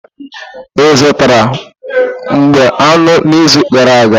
Ị zụtara mgbá aṅụ n'izu gara aga?